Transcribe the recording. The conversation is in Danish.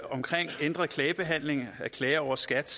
omkring ændret klagebehandling af klager over skat